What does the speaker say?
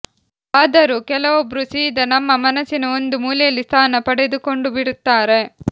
ಆದರೂ ಕೆಲವೊಬ್ರು ಸೀದಾ ನಮ್ಮ ಮನಸಿನ ಒಂದು ಮೂಲೆಯಲ್ಲಿ ಸ್ಥಾನ ಪಡೆದುಕೊಂಡುಬಿಡ್ತಾರೆ